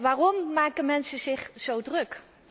Waarom maken mensen zich zo druk?